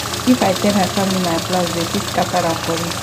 if i tell my family my plans dem fit scatter am for me